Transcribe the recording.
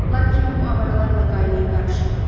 Lakin bu avaralarla qaynayıb qarışıb.